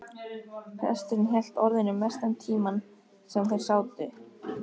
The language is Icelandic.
Presturinn hélt orðinu mestan tímann sem þeir sátu, upplýsti